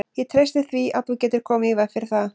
Ég treysti því, að þú getir komið í veg fyrir það